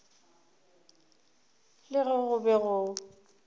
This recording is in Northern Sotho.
le ge go be go